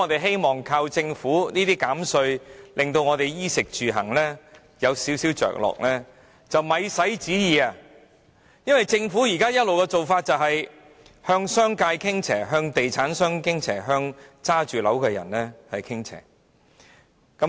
想靠政府減稅來稍為改善衣食住行，是想也不用想，因為政府政策一直以來都是向商界、地產商及物業擁有人傾斜。